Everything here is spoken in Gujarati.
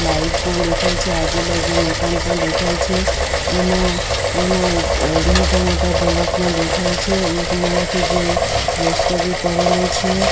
લાઈટ પણ દેખાય છે આજુબાજુ મકાન પણ દેખાય છે એમાં એમાં અહ મોટા-મોટા ઢોલક પણ દેખાય છે એક મરાઠી જેવું રસ્તો ભી કરેલું છે.